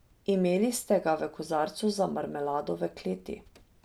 Imeli ste ga v kozarcu za marmelado v kleti.